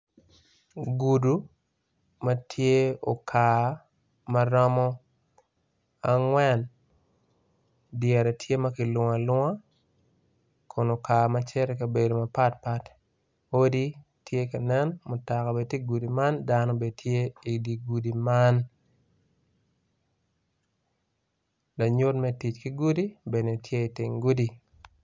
Gudo matye okar maromo angwen dyere tye makilungo alunga kun okar macito ikabedo mapat pat odi tye kanen mutoka bene tye igudi man dano bene tye i digudi man lanyut me tic ki gudi bene tye i teng gudi.